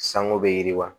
Sango bɛ yiriwa